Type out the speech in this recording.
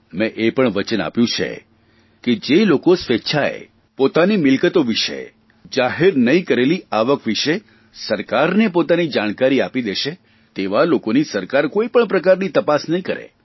મેં એ પણ વચન આપ્યું છે કે જે લોકો સ્વેચ્છાએ પોતાની મિલકતો વિષે જાહેર નહીં કરેલી આવક વિષે સરકારને પોતાની જાણકારી આપી દેશે તેવા લોકોની સરકાર કોઇપણ પ્રકારની તપાસ નહીં કરે